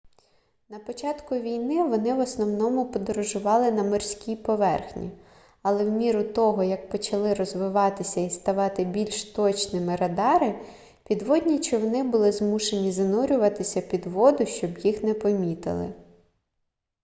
на початку війни вони в основному подорожували на морській поверхні але в міру того як почали розвиватися і ставати більш точними радари підводні човни були змушені занурюватися під воду щоб їх не помітили